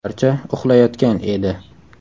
Barcha uxlayotgan edi.